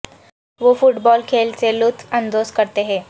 وہ football کھیل سے لطف اندوز کرتے ہیں